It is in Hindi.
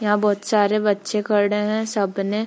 यहां बहुत सारे बच्चे खड़े हैं सबने --